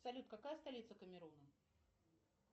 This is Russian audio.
салют какая столица камеруна